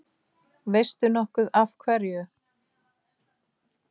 Veistu nokkuð af hverju?